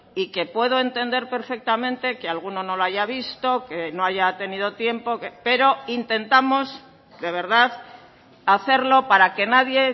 y que puedo entender perfectamente que alguno no lo haya visto que no haya tenido tiempo pero intentamos de verdad hacerlo para que nadie